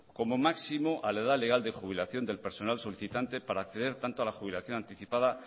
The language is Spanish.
como máximo a la edad legal de jubilación del personal solicitante para acceder tanto a la jubilación anticipada